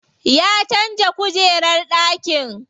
Ya canza kujerar ɗakin.